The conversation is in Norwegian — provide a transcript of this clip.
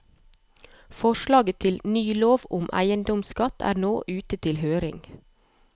Forslaget til ny lov om eiendomsskatt er nå ute til høring.